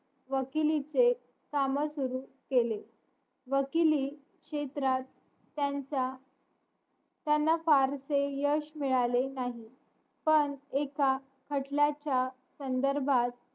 वकिलीचे काम सुरू केले वकिली क्षेत्रात त्यांच्या त्यांना फारशे यश मिळाले नाही पण एका खटल्याच्या संधर्भात